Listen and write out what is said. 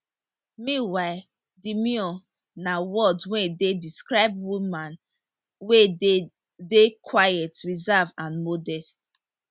meanwhile demure na word wey dey describe woman wey dey dey quiet reserved and modest